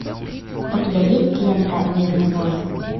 у тебя есть лента мирный воин